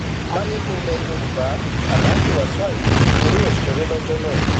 mayegun ilẹ yorùbá aláàjì wàsíù ayinde ni yóò ṣeré lọjọ náà